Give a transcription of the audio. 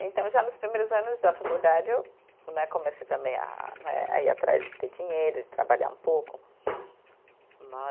Então, já nos primeiros anos da faculdade, eu né comecei também a né, a ir atrás de ter dinheiro, de trabalhar um pouco. Né